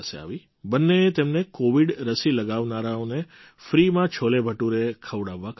બંનેએ તેમને કૉવિડ રસી લગાવનારાઓને ફ્રીમાં છોલેભટુરે ખવડાવવા કહ્યું